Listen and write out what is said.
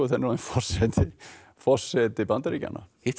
er orðinn forseti forseti Bandaríkjanna hittirðu